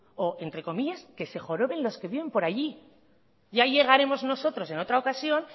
o entre comillas que se joroben los que viven por allí ya llegaremos nosotros en otra ocasión